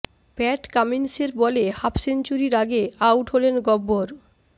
প্যাট কামিন্সের বলে হাফ সেঞ্চুরির আগে আউট হলেন গব্বর